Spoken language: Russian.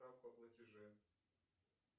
справку о платеже